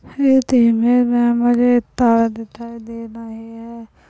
ये तेमे में मुझे टार दिखाई दे रहा हे।